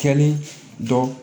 Kɛlen dɔ